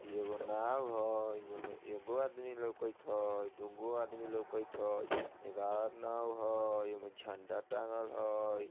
एगो नाव हैं इमे एगो आदमी लोकत हैं दुगो आदमी लोकत हैं एगो आरो नाव हैं इमे झंडा टांगल हेय।